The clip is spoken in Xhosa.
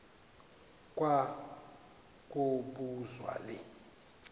kwa kobuzwa le